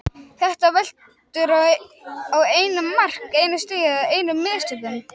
Þetta veltur á einu mark, einu stigi eða einum mistökum.